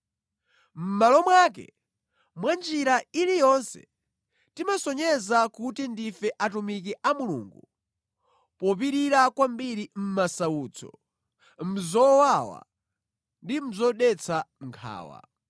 Mʼmalo mwake, mwanjira iliyonse timasonyeza kuti ndife atumiki a Mulungu popirira kwambiri mʼmasautso, mʼzowawa ndi mʼzodetsa nkhawa.